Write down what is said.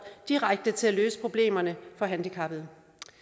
direkte til at løse problemerne for handicappede